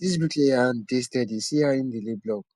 dis bricklayer hand dey steady see how im dey lay block